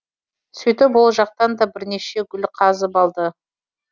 сөйтіп ол жақтан да бірнеше гүл қазып алды